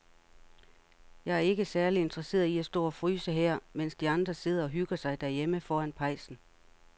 Jeg er ikke særlig interesseret i at stå og fryse her, mens de andre sidder og hygger sig derhjemme foran pejsen.